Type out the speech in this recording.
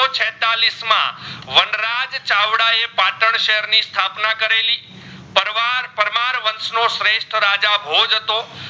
વંશ નો શ્રેસ્થ રાજા ભોજ હતો